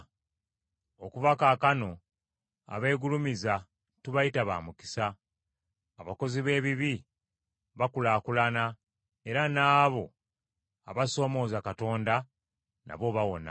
Okuva kaakano abeegulumiza tubayita ba mukisa; abakozi b’ebibi bakulaakulana era n’abo abasoomoza Katonda nabo bawona.’ ”